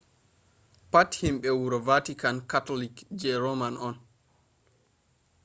pat himbe wuro vatican catholic je rome on